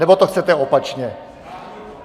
Nebo to chcete opačně?